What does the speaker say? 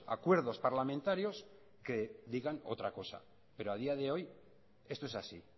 acuerdos parlamentarios que digan otra cosa pero a día de hoy esto es así